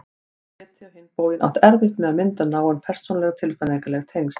Þeir geti á hinn bóginn átt erfitt með að mynda náin persónuleg og tilfinningaleg tengsl.